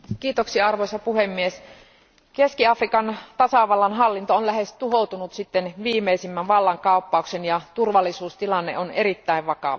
Arvoisa puhemies, Keski Afrikan tasavallan hallinto on lähes tuhoutunut sitten viimeisimmän vallankaappauksen ja turvallisuustilanne on erittäin vakava.